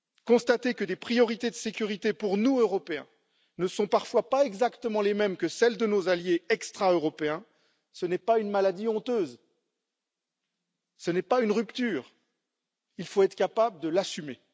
Constater que des priorités de sécurité pour nous, Européens, ne sont parfois pas exactement les mêmes que celles de nos alliés extra européens, ce n'est pas une maladie honteuse, ce n'est pas une rupture, il faut être capables de l'assumer.